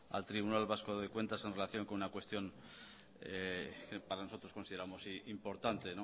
al tribunal vasco de cuentas en relación con una cuestión que para nosotros consideramos importante